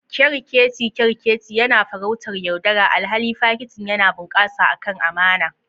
Kerkeci kerkeci yana farautar yaudara, alhali fakitin yana bunƙasa akan amana.